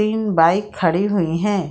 तीन बाइक खड़ी हुई हैं ।